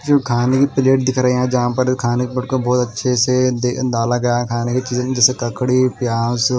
खाने की प्लेट दिख रहे है जहां पर खाने के प्लेट को बहोत अच्छे से डाला गया खाने की चीज़े मे जैसे ककड़ी प्याज़--